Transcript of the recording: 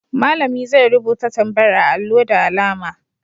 Malami zai rubuta tambayar a allo da alama.